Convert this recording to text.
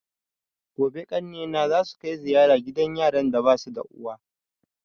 Gobe ƙanne na zasu kai ziyara gidan yaran da basu da uwa